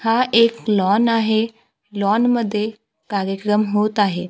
हा एक लॉन आहे लॉन मध्ये कार्यक्रम होत आहे.